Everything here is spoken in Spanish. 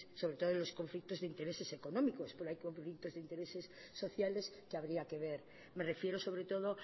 sobre todo los conflictos de intereses económicos pero hay de intereses sociales que habría que ver me refiero sobre todo